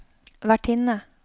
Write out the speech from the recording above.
vertinne